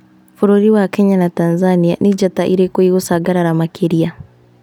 Bũrũri wa Kenya na Tanzania, nĩ njata ĩrĩkũ ĩgũcangarara makĩria?